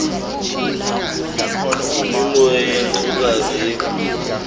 yimimoya yeyantlukwano ebhudla